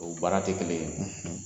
O baara tɛ kelen ye.